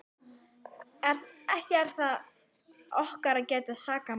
Ekki er það okkar að gæta sakamanna, sögðu þeir.